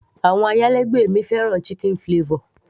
àwọn ayálégbé mi fẹ́ràn chicken flavor